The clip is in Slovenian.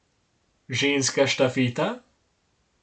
Ženska štafeta?